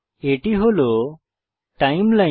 এটি হল টাইমলাইন